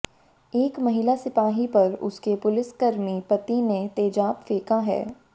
एक महिला सिपाही पर उसके पुलिसकर्मी पति ने तेजाब फेंका है